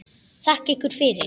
Þakka ykkur fyrir.